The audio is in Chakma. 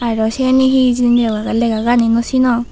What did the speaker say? aro siyani he hijeni oley lega gani naw sinong.